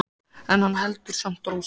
En hann heldur samt ró sinni.